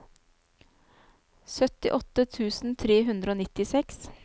syttiåtte tusen tre hundre og nittiseks